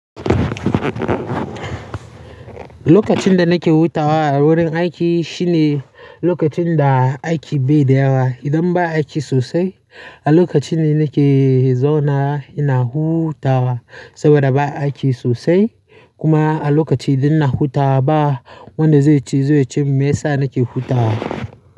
Lokacin da nake hutawa a wurin aiki shine lokacin da aiki bai da yawa. Idan ba aiki sosai, a lokacin ne nake zaunawa ina hutawa saboda ba aiki sosai. Kuma a lokacin da ina hutawa ba wanda zai ce meyasa nake hutawa.